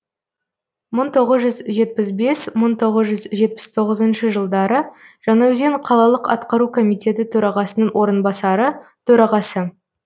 мың тоғыз жүз жетпіс бес мың тоғыз жүз жетпіс тоғызыншы жылдары жаңаөзен қалалық атқару комитеті төрағасының орынбасары төрағасы